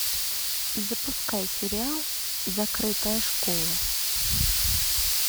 запускай сериал закрытая школа